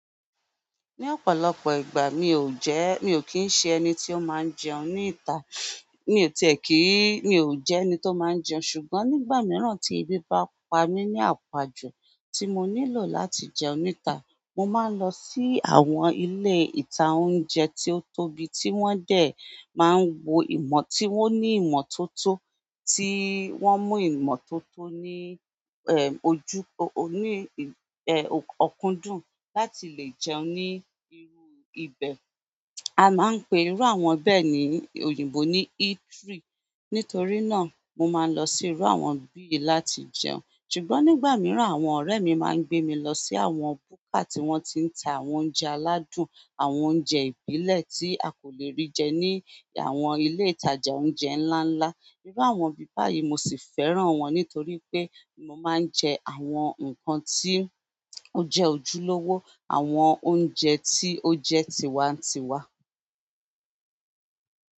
Ní ọ̀pọ̀lọpọ̀ ìgbà mi ò jẹ́, mi ò kí ń ṣe ẹni tí ó máa ń jẹun ní ìta. Mi o ti e ki n, ṣùgbọ́n nígbà miran ti ebi ba pa mi ni apa ju tí mo nílò láti jẹun nítà, mo máa ń lọ sí àwọn ilé ìta oúnjẹ tí ó tóbi tí wọ́n dẹ̀ máa ń wo ìmọ̀ tí wọ́n ní ìmọ̀ tó tó tí wọ́n mú ìmọ̀ tó tó ní ẹ, ojú ọkọ̀ ọkọ́ndún láti lè jẹun ní irú ibẹ̀. A máa ń pe irú àwọn bẹ́ẹ̀ ní òyìnbó ní eatery. Nítorí náà, mo máa ń lọ sí irú àwọn bíi yìí láti jẹun. Ṣùgbọ́n nígbà mìíràn àwọn ọ̀rẹ́ mi máa ń gbé mi lọ sí àwọn búkà tí wọ́n ti ń ta àwọn oúnjẹ aláwdun, àwọn oúnjẹ ìbílẹ̀ tí a kò lè rí jẹ ní àwọn ilé ìtajà oúnjẹ ńlá ńlá. Irú àwọn ibi báyìí mo sì fẹ́ràn wọn nítorí pé mo máa ń jẹ àwọn nǹkan tí ó jẹ́ ojúlówó, àwọn oúnjẹ tí ó jẹ́ tiwa-n-tiwa.